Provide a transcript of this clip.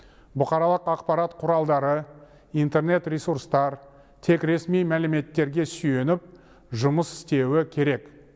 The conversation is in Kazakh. бұқаралық ақпарат құралдары интернет ресурстар тек ресми мәліметтерге сүйеніп жұмыс істеуі керек